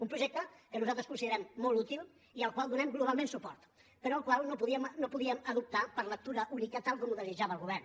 un projecte que nosaltres considerem molt útil i al qual donem globalment suport però el qual no podíem adoptar per lectura única tal com ho desitjava el govern